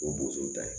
O bo so ta ye